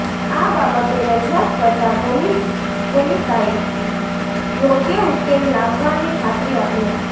આ બાબતે રજૂઆત કરતાં પાલિકાએ યોગ્ય ઉકેલ લાવવાની ખાત્રી આપી હતી